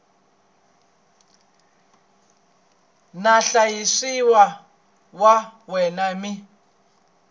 na vahlayisiwa va wena mi